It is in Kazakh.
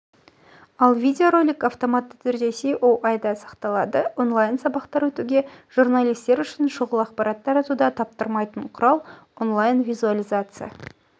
ал видеоролик автоматты түрде ое-те сақталады онлайн-сабақтар өтуге журналистер үшін шұғыл ақпарат таратуда таптырмайтын құрал онлайн-визуализация